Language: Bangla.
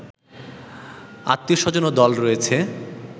আত্বীয়-স্বজন ও দল রয়েছে